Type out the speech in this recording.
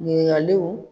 Ɲininkaliw